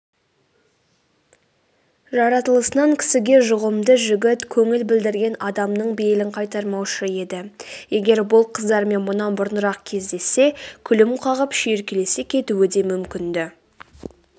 жаратылысынан кісіге жұғымды жігіт көңіл білдірген адамның бейілін қайтармаушы еді егер бұл қыздармен мұнан бұрынырақ кездессе күлім қағып шүйіркелесе кетуі де мүмкін-ді